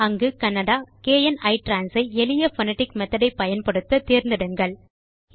அங்கு Kannada kn ITRANS ஐ எளிய போனடிக் மெத்தோட் ஐ பயன்படுத்த தேர்ந்தெடுங்கள்